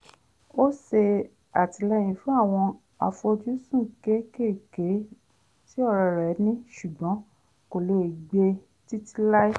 ó ṣè àtìlẹ́yìn fún àwọn àfojúsùn kékéèké tí ọ̀rẹ́ rẹ̀ ní ṣùgbọ́n kò lè gbé e títí láí